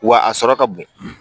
Wa a sɔrɔ ka bon